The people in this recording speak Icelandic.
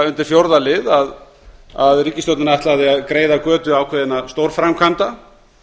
undir fjórða lið að ríkisstjórnin ætlaði að greiða götu ákveðinna stórframkvæmda